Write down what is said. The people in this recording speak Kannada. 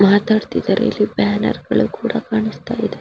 ಮಾತಾಡುತಿದರೆ ಇಲ್ಲಿ ಬ್ಯಾನರ್ಗಳು ಕೂಡ ಕಾಣುಸ್ತ ಇದೆ.